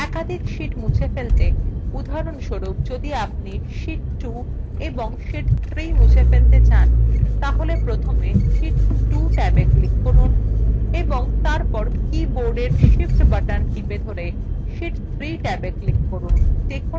একাধিক sheets মুছে ফেলতে উদাহরণস্বরূপ যদি আপনি sheet 2 এবং sheet 3 মুছে ফেলতে চান তাহলে প্রথমে sheet 2 ট্যাবে click করুন এবং তারপর কীবোর্ডের shift button টিপে ধরে sheet 3 ট্যাবwe click করুন